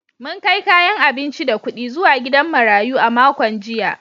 Mun kai kayan abinci da kudi zuwa gidan marayu a makon jiya.